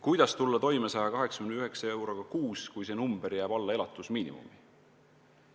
Kuidas tulla toime 189 euroga kuus, kui see jääb alla elatusmiinimumi?